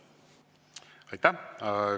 Aitäh!